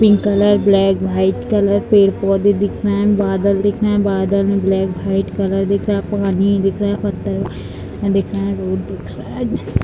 Pink colour black - white colour पेड़-पौधे दिख रहे हैं बादल दिख रहे हैं बादल में ब्लैक - व्हाइट कलर दिख रहा है पानी दिख रहा है पत्थर दिख रहा है रोड दिख रहा है।